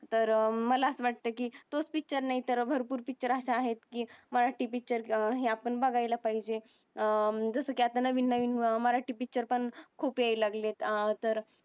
तर मला अस वाटतंय कि तो पिक्चर नाही तर भरपूर पिक्चर अस आहेत कि मराठी पिक्चर ह्या पण बगायला पाहिजे. जस कि अत्ता नवीन नवीन मराटी पिक्चर पण खुप येयील लागले अत्ता तर